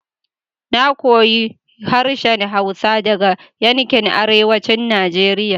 Na koyi harshen hausa daga yankin arewacin Najeriya